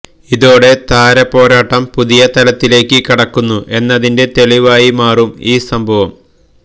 ഇതോടെ താരപോരാട്ടം പുതിയ തലത്തിലേക്ക് കടക്കുന്നു എന്നതിന്റെ തെളിവായി മാറി ഈ സംഭവം